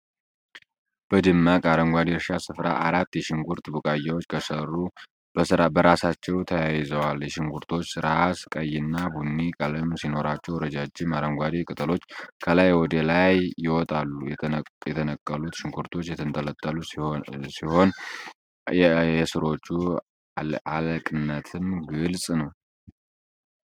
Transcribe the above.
በደማቅ አረንጓዴ የእርሻ ስፍራ አራት የሽንኩርት ቡቃያዎች ከሥሩ በሥራቸው ተየይዘዋል። የሽንኩርቶቹ ራስ ቀይና ቡኒ ቀለም ሲኖራቸው፣ ረዣዥም አረንጓዴ ቅጠሎች ከላይ ወደ ላይ ይወጣሉ። የተነቀሉት ሽንኩርቶች የተንጠለጠሉ ሲሆነው፤ የሥሮቹ አለቅነትም ግልጽ ነው።